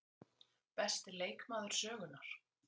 Besti leikmaður sögunnar?